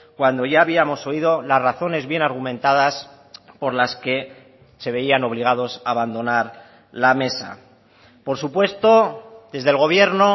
cuando ya habíamos oído las razones bien argumentadas por las que se veían obligados a abandonar la mesa por supuesto desde el gobierno